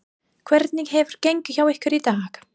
Hvernig hefur gengið hjá ykkur í dag?